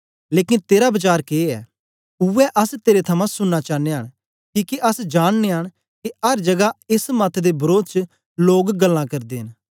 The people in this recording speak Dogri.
लेकन तेरा वचार के ऐ उवै अस तेरे थमां सुनना चानयां किके अस जाननयां न के अर जगा एस मत दे वरोध च लोग गल्लां करदे न